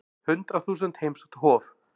Hundrað þúsund heimsótt Hof